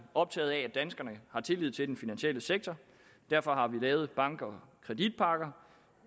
optaget af at danskerne har tillid til den finansielle sektor derfor har vi lavet bank og kreditpakker